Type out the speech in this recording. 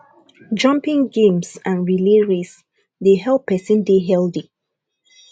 jumping games and relay race dey help person dey healthy